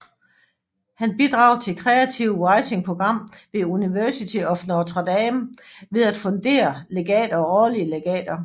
Han bidrager til Creative Writing Program ved University of Notre Dame ved at fundere legater og årlige legater